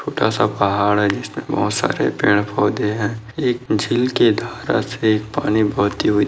छोटा सा पहाड़ है जिसपे बहुत सारे पेड़ पौधे है एक झील के धारा से पानी बहती हुई--